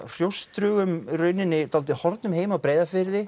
hrjóstrugum í rauninni dálítið horfnum heim á Breiðafirði